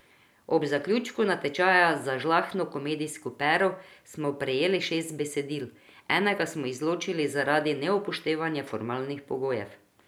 Ob zaključku natečaja za žlahtno komedijsko pero smo prejeli šest besedil, enega smo izločili zaradi neupoštevanja formalnih pogojev.